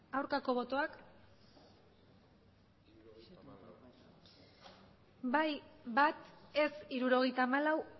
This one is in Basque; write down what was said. aurkako botoak bai bat ez hirurogeita hamalau